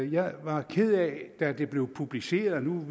jeg var ked af da det blev publiceret